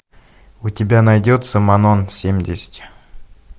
у тебя найдется манон семьдесят